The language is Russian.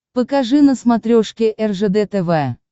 покажи на смотрешке ржд тв